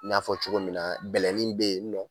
N y'a fɔ cogo min na bɛlɛnin bɛ yen nɔ